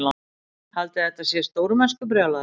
Haldiði að þetta sé stórmennskubrjálæði?